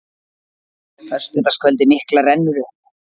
Föstudagskvöldið mikla rennur upp.